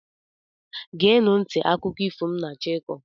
geenụ nti akụkọ ifo a m na-achọ ịkọ